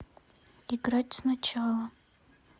играть сначала